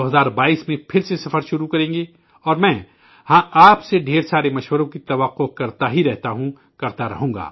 2022 میں پھر سے سفر شروع کریں گے اور میں آپ سے ڈھیر سارے سجھاؤ کی توقع کرتا ہی رہوں گا